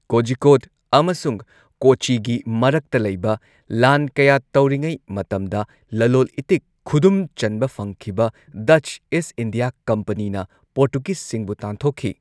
ꯀꯣꯖꯤꯀꯣꯗ ꯑꯃꯁꯨꯡ ꯀꯣꯆꯤꯒꯤ ꯃꯔꯛꯇ ꯂꯩꯕ ꯂꯥꯟ ꯀꯌꯥ ꯇꯧꯔꯤꯉꯩ ꯃꯇꯝꯗ ꯂꯂꯣꯜ ꯏꯇꯤꯛ ꯈꯨꯗꯨꯝ ꯆꯟꯕ ꯐꯪꯈꯤꯕ ꯗꯆ ꯏꯁꯠ ꯏꯟꯗꯤꯌꯥ ꯀꯝꯄꯅꯤꯅ ꯄꯣꯔꯇꯨꯒꯤꯖꯁꯤꯡꯕꯨ ꯇꯥꯟꯊꯣꯛꯈꯤ꯫